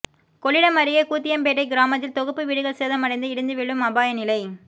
கொள்ளிடம் அருகே கூத்தியம்பேட்டை கிராமத்தில் தொகுப்பு வீடுகள் சேதமடைந்து இடிந்து விழும் அபாய நிலை